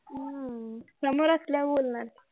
हम्म समोर असल्यावर बोलणार कि